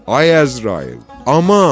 Ay Əzrail, aman!